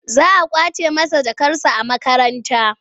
Za a ƙwace masa jakarsa a makaranta.